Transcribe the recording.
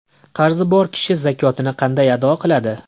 Qarzi bor kishi zakotini qanday ado qiladi?.